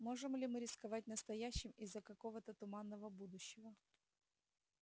можем ли мы рисковать настоящим из-за какого-то туманного будущего